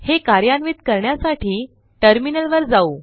हे कार्यान्वित करण्यासाठी टर्मिनलवर जाऊ